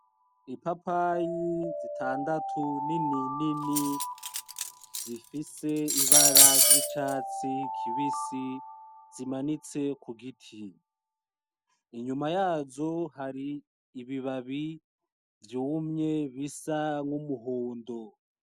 Ipapayi zitandatu ninini, zifise ibara ry'icatsi kibisi zimanitse ku giti, inyuma yazo hari ibibabi vyumye bisa n'umuhondo.